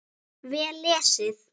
Vel lesið.